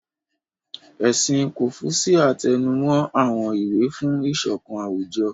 Ẹ̀sìn kọ́fúṣíà tẹnumó àwọn ìwà fún ìṣọ̀kan àwùjọ